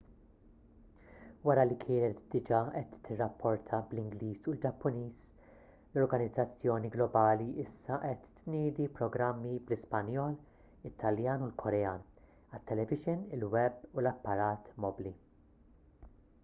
wara li kienet diġà qed tirrapporta bl-ingliż u l-ġappuniż l-organizzazzjoni globali issa qed tniedi programmi bl-ispanjol it-taljan u l-korean għat-televixin il-web u l-apparat mobbli